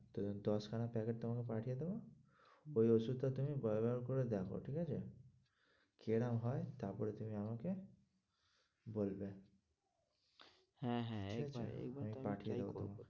তো দশখানা packet তোমাকে পাঠিয়ে দেবো ওই ওষুধটা তুমি ব্যবহার করে দেখো ঠিক আছে? কিরাম হয় তারপরে তুমি আমাকে বলবে হ্যাঁ, হ্যাঁ পাঠিয়ে